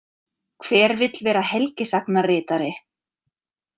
Hver vill vera helgisagnaritari?